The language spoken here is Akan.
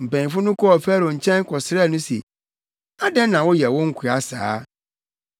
Mpanyimfo yi kɔɔ Farao nkyɛn kɔsrɛɛ no se, “Adɛn na woyɛ wo nkoa saa?